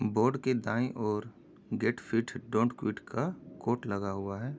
Board के दाईं ओर गेट फिट डोंट क्विट का कोट लगा हुआ है।